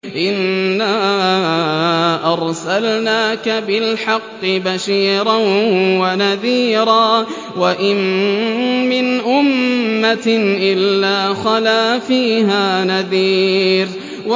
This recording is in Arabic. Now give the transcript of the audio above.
إِنَّا أَرْسَلْنَاكَ بِالْحَقِّ بَشِيرًا وَنَذِيرًا ۚ وَإِن مِّنْ أُمَّةٍ إِلَّا خَلَا فِيهَا نَذِيرٌ